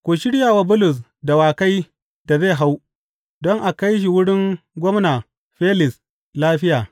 Ku shirya wa Bulus dawakai da zai hau don a kai shi wurin Gwamna Felis lafiya.